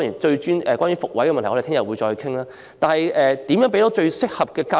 怎樣向學生提供最適合的教育？